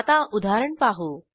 आता उदाहरण पाहू